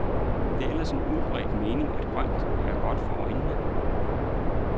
Det er ellers en udbredt mening, at grønt er godt for øjnene.